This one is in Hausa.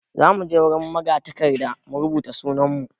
Za mu je wurin magatakarda mu rubuta sunan mu.